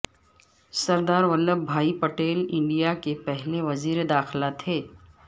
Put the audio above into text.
سردرا Vallabhbhai Patel India کے پہلے وزیر داخلہ تھے